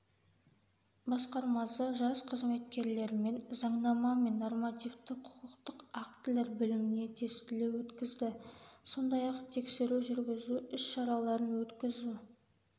басқармасы жас қызметкерлермен заңнама мен нормативті-құқықтық актілер біліміне тестілеу өткізді сондай-ақ тексеру жүргізу іс-шараларын өткізу